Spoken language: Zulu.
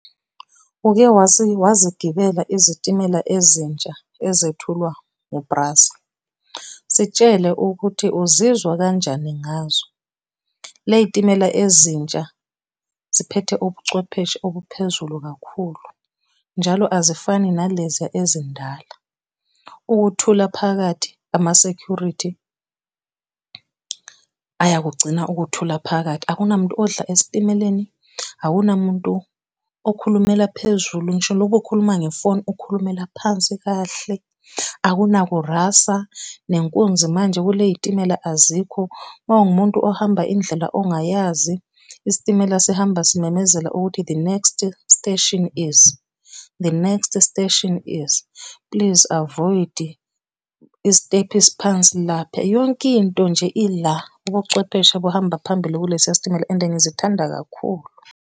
Uke wazigibela izitimela ezintsha ezethulwa ngu-Prasa? Sitshele ukuthi uzizwa kanjani ngazo. Ley'timela ezintsha ziphethe ubuchwepheshe obuphezulu kakhulu, njalo azifani naleziya ezindala. Ukuthula phakathi, ama-security, ayakugcina ukuthula phakathi. Akunamuntu odla esitimeleni, akunamuntu okhulumela phezulu ngisho lo bukhuluma ngefoni, ukhulumela phansi kahle, akunaku rasa, nenkunzi manje kule y'timela azikho. Mawungumuntu ohamba indlela ongayazi, isitimela sihamba simemezele ukuthi, the next station is, the next station is, please avoid isitephu esiphansi lapha. Yonke into nje Ila ubuchwepheshe buhamba phambili kulesiya sitimela and ngizithanda kakhulu.